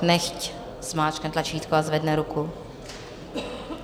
Nechť zmáčkne tlačítko a zvedne ruku.